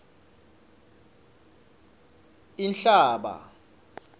inhlaba